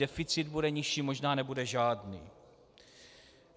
Deficit bude nižší, možná nebude žádný.